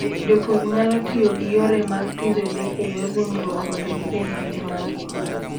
Jopur nyalo tiyo gi yore mag pidho le e yor ringruok mondo gibed gi le mangima.